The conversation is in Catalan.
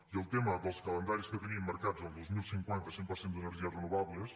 i el tema dels calendaris que tenim marcats el dos mil cinquanta cent per cent d’energies renovables